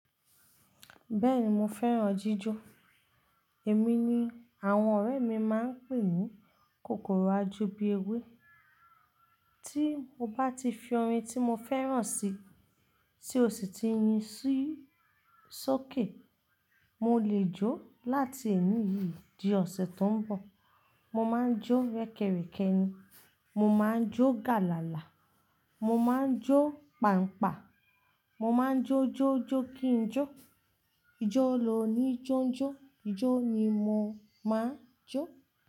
Bẹ́ẹ̀ni mo fẹ́ràn jíjó. Èmi ni àwọn ọ̀rẹ́ mi máa ń pè ní kòkòrò ajó bi ewé. Tí mo bá ti fi orin tí mo fẹ́ràn sì, tí ó sì ti yin ṣóòkè, mo lè jó láti èní yìí di ọ̀sẹ̀ tó ń bọ̀. Mo máa ń jó rẹ́kẹrẹ̀kẹ́ ni, mo máa ń jó gàlálà, mo máa ń jó pàǹpà, mo máa ń jó jó jó kí n jó, ijó ló ni jónjó, ijó ni mo máa ń jó.